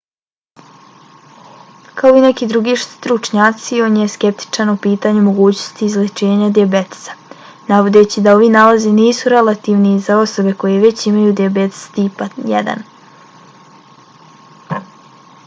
kao i neki drugi stručnjaci i on je skeptičan o pitanju mogućnosti izlječenja dijabetesa navodeći da ovi nalazi nisu relevantni za osobe koje već imaju dijabetesa tipa 1